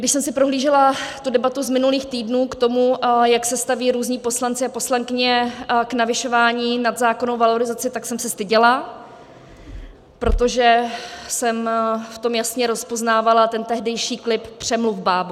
Když jsem si prohlížela tu debatu z minulých týdnů k tomu, jak se staví různí poslanci a poslankyně k navyšování nad zákonnou valorizaci, tak jsem se styděla, protože jsem v tom jasně rozpoznávala ten tehdejší klip "přemluv bábu".